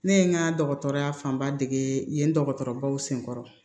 Ne ye n ka dɔgɔtɔrɔya fanba dege yen yen dɔgɔtɔrɔbaw senkɔrɔ